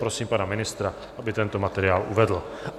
Prosím pana ministra, aby tento materiál uvedl.